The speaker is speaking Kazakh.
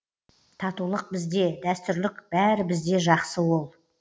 татулық бізде дәстүрлік бәрі бізде жақсы ол